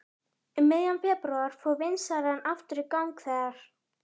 Um miðjan febrúar fór vinnslan aftur í gang þegar